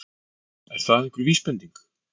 Er það einhver vísbending?